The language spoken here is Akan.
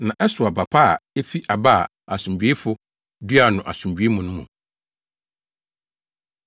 Na ɛsow aba pa a efi aba a asomdwoefo duaa no asomdwoe mu no mu.